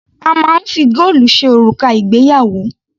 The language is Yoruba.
A máa ń fi góòlù ṣe òrùka ìgbéyàwó.